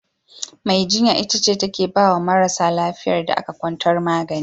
Mai jinya ita ce take baya marasa lafiyar da aka kwantar magani.